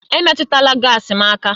Emetụla gaasi m aka!